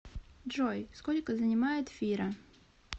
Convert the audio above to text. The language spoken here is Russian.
джой сколько занимает фира